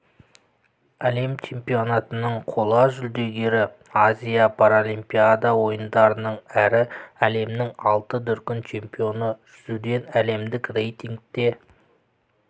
әлем чемпионатының қола жүлдегері азия паралимпиада ойындарының әрі әлемнің алты дүркін чемпионы жүзуден әлемдік рейтингте